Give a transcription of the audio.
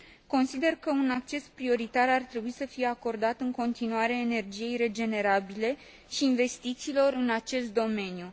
Consider că un acces prioritar ar trebui să fie acordat în continuare energiei regenerabile și investițiilor în acest domeniu.